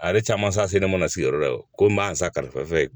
A yɛrɛ caman sa se ne mana sigi yɔrɔ la dɛ ko n b'a san kalifa